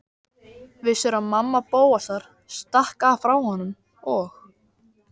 Vissirðu að mamma Bóasar stakk af frá honum og